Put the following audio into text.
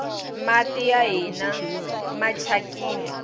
mati a hina machakini